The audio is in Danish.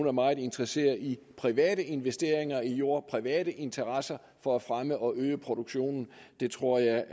er meget interesseret i private investeringer i jord private interesser for at fremme og øge produktionen det tror jeg